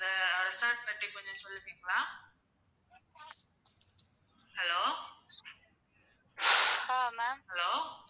Hello.